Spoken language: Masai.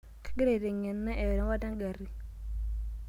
Kagira aiteng'ena erewata engari.